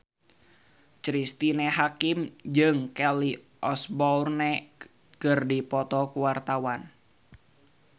Cristine Hakim jeung Kelly Osbourne keur dipoto ku wartawan